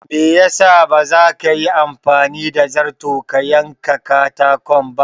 Me ya sa baza ka Yi anfani da zarto ka yen ka katakon ba?